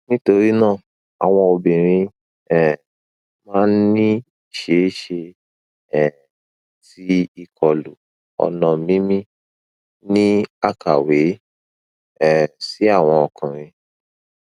nitorina awọn obinrin um maa n ni iṣeeṣe um ti ikolu ọna mimi ni akawe um si awọn ọkunrin